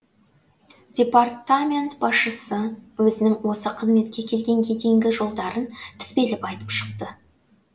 департамент басшысы өзінің осы қызметке келгенге дейінгі жолдарын тізбелеп айтып шықты